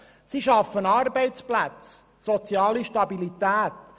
sie schaffen Arbeitsplätze und soziale Stabilität;